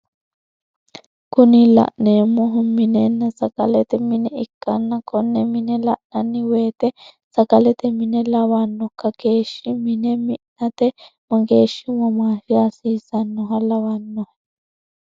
Kuni la'neemohu minenna sagalete mine ikkanna kone mine la'nanni woyiite sagalete mine lawanno? Kageeshshi mine mi'nate mageeshshi womaashi hasiissannoha lawannohe.